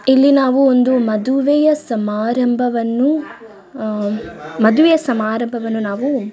ಇಲ್ಲಿ ನಾವು ಒಂದು ಮದುವೆಯ ಸಮಾರಂಭವನ್ನು ಮದುವೆಯ ಸಮಾರಂಭವನ್ನು ನಾವು--